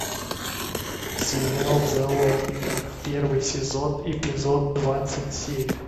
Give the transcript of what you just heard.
сериал в заложниках первый сезон эпизод двадцать семь